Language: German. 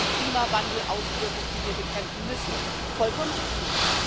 Das ist eine Klimawandelauswirkung, die wir bekämpfen müssen vollkommen richtig.